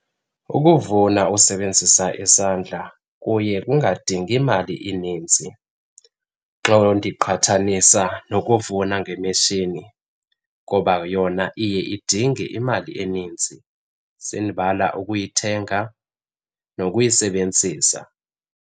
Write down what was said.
Ukuvuna usebenzisa isandla kuye kungadingi mali ininzi xa ndiqhathanisa nokuvuna ngemishini ngoba yona iye idinge imali enintsi. Sendibala ukuyithenga nokuyisebenzisa.